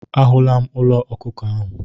A hụla m ụlọ ọkụkọ ahụ.